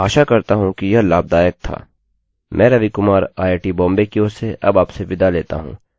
मैं आशा करता हूँ कि यह लाभदायक था